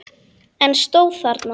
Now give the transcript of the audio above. En stóð þarna.